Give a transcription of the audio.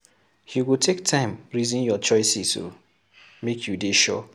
You go take time resin your choices o, make you dey sure.